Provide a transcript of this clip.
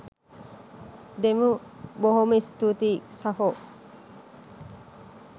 දෙමු බොහොම ස්තූතියි සහෝ.